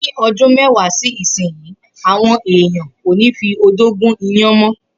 Ni o̩dún mé̩wàá sí ìsinyìí, àwo̩n èèyàn kò ní fi odó gún iyán mọ́.